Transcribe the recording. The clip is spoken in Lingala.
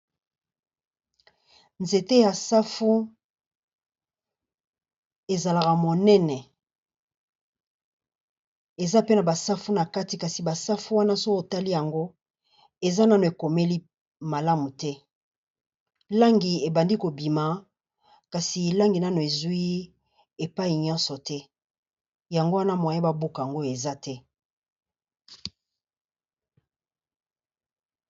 Nzete ya safu ezalaka monene eza pe na ba safu na kati, kasi ba safu wana soki otali yango eza nano ekomeli malamu te. Langi ebandi ko bima kasi langi nano ezwi epayi nyonso te, yango wana moyen ba buka ngo eza te.